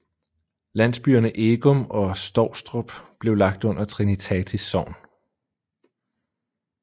Landsbyerne Egum og Stovstrup blev lagt under Trinitatis Sogn